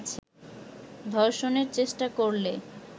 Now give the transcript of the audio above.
ধর্ষণের চেষ্টা করলে